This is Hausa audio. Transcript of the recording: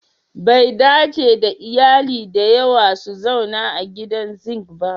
Bai dace da iyali da yawa su zauna a gidan zink ba